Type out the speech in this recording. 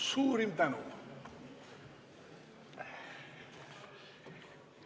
Suurim tänu!